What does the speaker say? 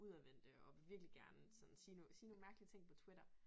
Udadvendte og vil virkelig gerne sådan sige nogle sige nogle mærkelige ting på Twtitter